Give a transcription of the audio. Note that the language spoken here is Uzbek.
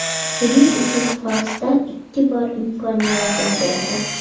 Buning uchun forslar ikki bor imkon yaratib berdi.